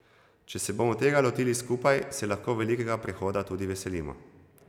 Če se bomo tega lotili skupaj, se lahko velikega prehoda tudi veselimo.